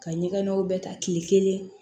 Ka ɲɛgɛnnaw bɛɛ ta kile kelen